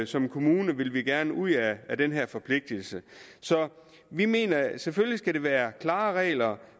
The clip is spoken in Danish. som kommune vil vi gerne ud af den her forpligtelse så vi mener at der selvfølgelig skal være klare regler